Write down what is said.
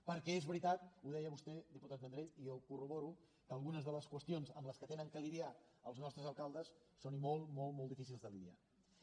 perquè és veritat ho deia vostè diputat vendrell i jo ho corroboro que algunes de les qüestions amb què han de lidiar els nostres alcaldes són molt molt difícils de lidiarhi